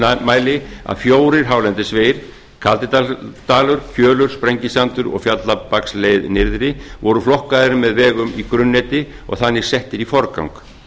nýmæli að fjórir hálendisvegir kaldidalur kjölur sprengisandur og fjallabaksleið nyrðri voru flokkaðir með vegum í grunnneti og þannig settir í forgang